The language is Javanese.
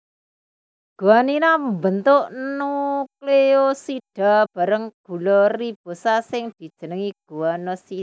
Guaninaa mbentuk nukleosida bareng karo gula ribosa sing dijenengi guanosina